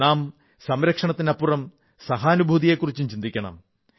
നാം സംരക്ഷണത്തിനപ്പുറം സഹാനുഭൂതിയെക്കുറിച്ചും ചിന്തിക്കണം